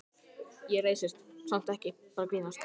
Slík úðun tekur venjulega minna en eina mínútu.